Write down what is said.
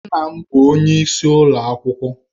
Nna m bụ onyeisi ụlọ akwụkwọ.